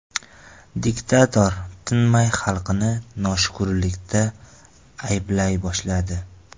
Diktator tinmay xalqini noshukurlikda ayblay boshladi.